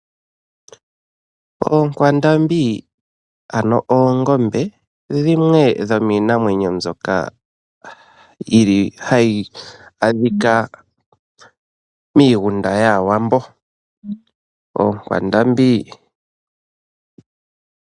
Oonkwandambi ano ndhono hadhi ithanwa oongombe dhimwe dhomiinamwenyo mbyoka hayi munwa noku adhika miigunda yAawambo.